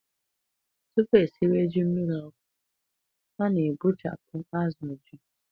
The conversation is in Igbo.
Tupu esịwe ji mmirí ọkụ, a na-ebechapụ azụ ji.